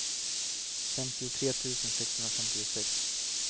femtiotre tusen sexhundrafemtiosex